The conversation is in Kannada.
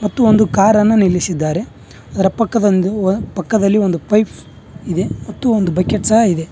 ತ್ತು ಒಂದು ಕಾರನ್ನು ನಿಲ್ಲಿಸಿದ್ದಾರೆ ಅದರ ಪಕ್ಕದೊಂದಿರುವ ಪಕ್ಕದಲ್ಲಿ ಒಂದು ಪೈಪ್ ಇದೆ ಮತ್ತು ಒಂದು ಬಕೆಟ್ ಸಹ ಇದೆ.